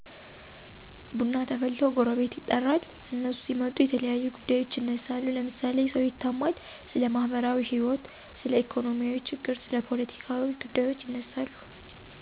ቡና ተፈልቶ ጎረቤት ይጠራል። እነሱ ሲመጡ የተለያዩ ጉዳዬች ይነሳሉ ለምሳሌ ሰው ይታማል፣ ስለማህበራዎህይወት፣ ስለኢኮኖሚ ችግር፣ ስለ ፓለቲካ ጉዳዩች ይነሳሉ።